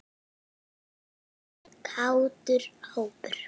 Þetta er kátur hópur.